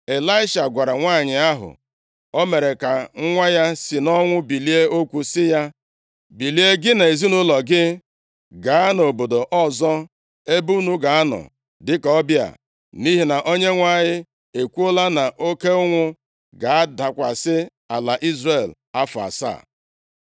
Ịlaisha gwara nwanyị ahụ o mere ka nwa ya si nʼọnwụ bilie okwu sị ya, “Bilie, gị na ezinaụlọ gị, gaa nʼobodo ọzọ ebe unu ga-anọ dịka ọbịa nʼihi na Onyenwe anyị ekwuola na oke ụnwụ ga-adakwasị ala Izrel afọ asaa.”